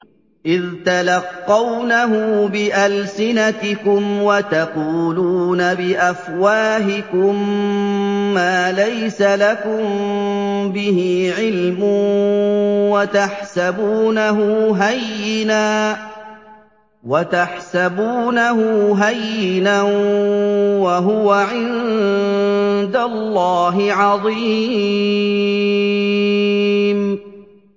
إِذْ تَلَقَّوْنَهُ بِأَلْسِنَتِكُمْ وَتَقُولُونَ بِأَفْوَاهِكُم مَّا لَيْسَ لَكُم بِهِ عِلْمٌ وَتَحْسَبُونَهُ هَيِّنًا وَهُوَ عِندَ اللَّهِ عَظِيمٌ